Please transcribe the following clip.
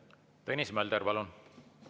Tõnis Mölder, palun!